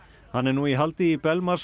hann er nú í haldi í